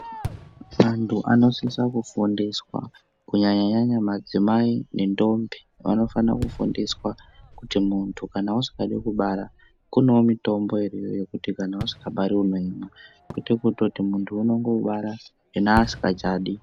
Antu anosiswa kufundiswaa kunyanyanya madzimai ngendombi, vanofana kufundiswaa kuti muntu kana wasvika pekubara kunevo mitombo inoti kana wasvika pari unoimwa kwete kutoti muntu unongobara yena asingachadi.